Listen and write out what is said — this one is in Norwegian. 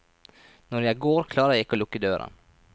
Når jeg går, klarer jeg ikke å lukke døren.